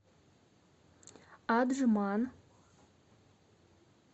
аджман